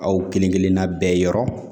Aw kelenkelenna bɛɛ yɔrɔ